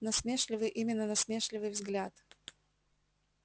насмешливый именно насмешливый взгляд